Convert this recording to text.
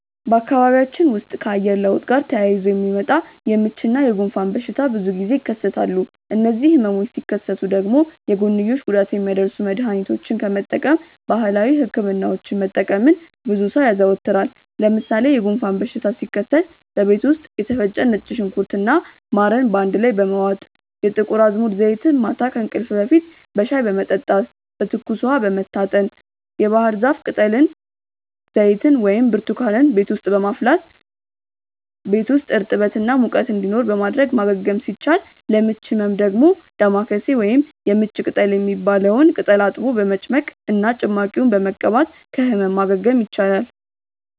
በአካባቢያችን ውስጥ ከአየር ለውጥ ጋር ተያይዞ የሚመጣ የምች እና የጉንፋን በሽታ ብዙ ጊዜ ይከሰታሉ። እነዚህ ህመሞች ሲከሰቱ ደግሞ የጎንዮሽ ጉዳት የሚያደርሱ መድሀኒቶችን ከመጠቀም ባህላዊ ህክምናዎችን መጠቀምን ብዙ ሰው ያዘወትራል። ለምሳሌ የጉንፋን በሽታ ሲከሰት በቤት ውስጥ የተፈጨ ነጭ ሽንኩርት እና ማርን አንድ ላይ በመዋጥ፣ የጥቁር አዝሙድ ዘይትን ማታ ከእንቅልፍ በፊት በሻይ በመጠጣት፣ በትኩስ ውሃ በመታጠን፣ የባህርዛፍ ቅጠል ዘይትን ወይም ብርቱካንን ቤት ውስጥ በማፍላት ቤት ውስጥ እርጥበት እና ሙቀት እንዲኖር በማድረግ ማገገም ሲቻል፤ ለምች ህመም ደግሞ ዳማከሴ ወይም የምች ቅጠል የሚባለውን ቅጠል አጥቦ በመጭመቅ እና ጭማቂውን በመቀባት ከህመም ማገገም ይቻላል።